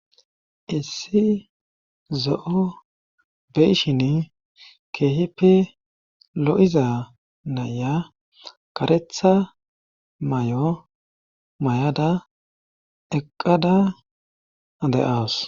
Issi zo7o beyshin keehipe lo7iza naya karetha may7o may7ada eqqada ade7awus